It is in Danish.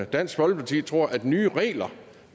dansk folkeparti tror at nye regler